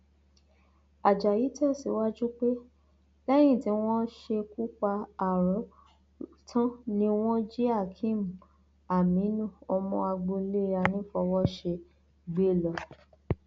ajayi tẹsíwájú pé lẹyìn tí wọn ṣekú pa aro tán ni wọn jí akéem aminu ọmọ agboolé anìfọwọṣe gbé lọ